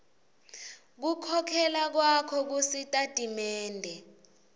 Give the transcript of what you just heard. kukhokhela kwakho kusitatimende